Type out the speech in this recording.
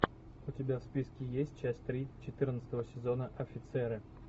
у тебя в списке есть часть три четырнадцатого сезона офицеры